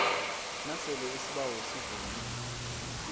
nasele isibawo sivunywe